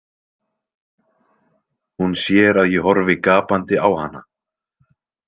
Hún sér að ég horfi gapandi á hana.